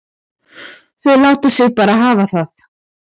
Þau láta sig bara hafa það.